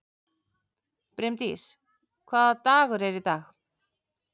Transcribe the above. Brimdís, hvaða dagur er í dag?